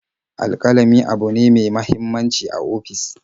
Alƙalami abune ne me muhimmanci a ofis.